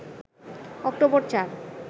October ৪